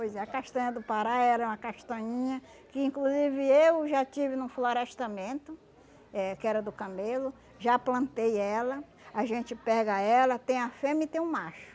Pois é, a castanha do Pará era uma castanhinha que inclusive eu já tive no florestamento, eh que era do camelo, já plantei ela, a gente pega ela, tem a fêmea e tem o macho.